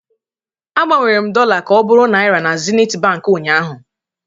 Agbanwere m dollar ka ọ bụrụ naira na Zenith Bank ụnyahụ